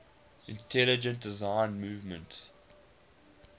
intelligent design movement